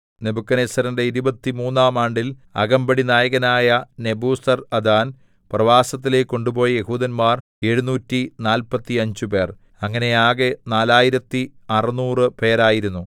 നെബൂഖദ്നേസരിന്റെ ഇരുപത്തിമൂന്നാം ആണ്ടിൽ അകമ്പടിനായകനായ നെബൂസർഅദാൻ പ്രവാസത്തിലേക്കു കൊണ്ടുപോയ യെഹൂദന്മാർ എഴുനൂറ്റി നാല്പത്തിയഞ്ചുപേർ ഇങ്ങനെ ആകെ നാലായിരത്തി അറുനൂറു പേരായിരുന്നു